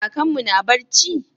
Kakanmu na barci?